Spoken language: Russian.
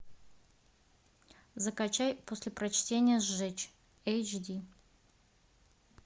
закачай после прочтения сжечь эйч ди